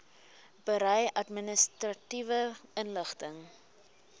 berei administratiewe inligting